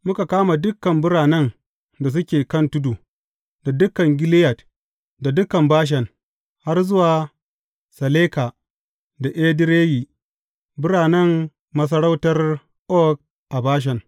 Muka kama dukan biranen da suke kan tudu, da dukan Gileyad, da dukan Bashan, har zuwa Saleka da Edireyi, biranen masarautar Og a Bashan.